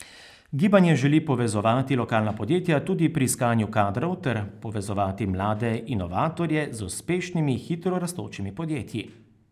Gibanje želi povezovati lokalna podjetja tudi pri iskanju kadrov ter povezovati mlade inovatorje z uspešnimi hitro rastočimi podjetji.